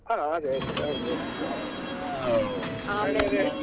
ಹ ಅದೇ ಅದೇ ಅಗ್ಬಹುದು ಅದೇ.